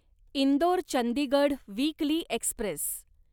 Indore Chandigarh weekly Express